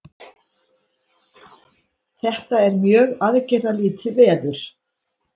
Þetta er mjög aðgerðalítið veður